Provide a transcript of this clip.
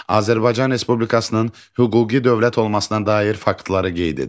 Azərbaycan Respublikasının hüquqi dövlət olmasına dair faktları qeyd edin.